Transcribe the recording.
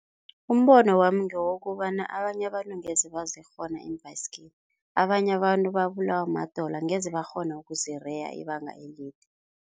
Umbono wami ngewokobana abanye abantu angeze bazokukghona iimbhayisigiri, abanye abantu babulawa madolo angeze bakghona ukuzireya ibanga elide.